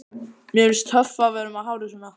Mér finnst hann töff með hárið svona!